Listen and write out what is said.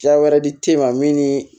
Ja wɛrɛ di te ma min ni